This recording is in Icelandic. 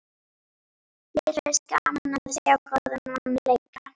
Mér finnst gaman að sjá góðan mann leika.